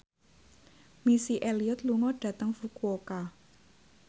Missy Elliott lunga dhateng Fukuoka